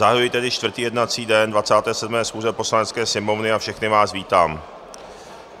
Zahajuji tedy čtvrtý jednací den 27. schůze Poslanecké sněmovny a všechny vás vítám.